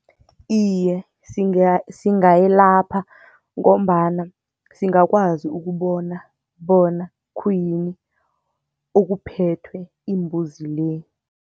Iye, singayelapha ngombana singakwazi ukubona bona khuyini okuphethwe imbuzi le.